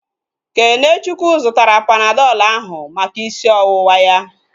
Kenechukwu zụtara Panadọl ahu maka isi ọwụwa ya